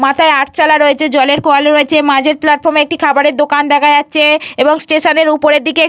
মাথায় আটচালা রয়েছে জলের কলও রয়েছে। মাঝের প্ল্যাটফর্মে একটি খাবারের দোকান দেখা যাচ্ছে এবং স্টেশনের উপরের দিকে --